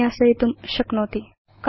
विन्यासयितुं शक्नोति